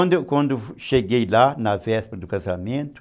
Aí quando quando eu cheguei lá, na véspera do casamento,